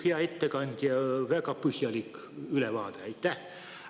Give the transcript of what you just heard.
Hea ettekandja, väga põhjalik ülevaade, aitäh!